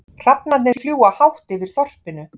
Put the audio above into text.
Hrafnarnir fljúga hátt yfir þorpinu.